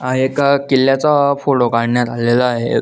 हा एका किल्ल्याचा फोटो काढण्यात आलेला आहे.